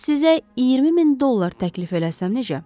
Bəs sizə 20 min dollar təklif eləsəm necə?